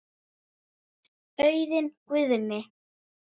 Auðunn Guðni.